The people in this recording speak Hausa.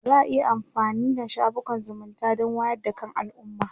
za'a iya amfanin da shafukan zumunta Dan wayar da kan alumma